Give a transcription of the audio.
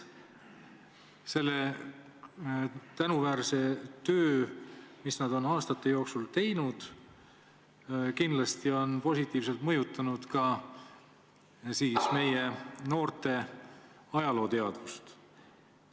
See tänuväärne töö, mis nad on aastate jooksul teinud, on kindlasti positiivselt mõjutanud ka meie noorte ajalooteadvust.